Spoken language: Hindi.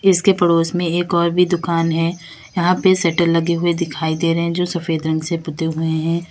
जिसके पड़ोस में एक और भी दुकान है यहां पे सेटल लगे हुए दिखाई दे रहे हैं जो सफेद रंग से पोते हुए हैं।